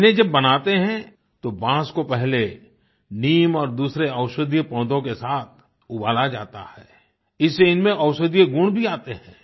इन्हें जब बनाते हैं तो बाँस को पहले नीम और दूसरे औषधीय पौधों के साथ उबाला जाता है इससे इनमें औषधीय गुण भी आते हैं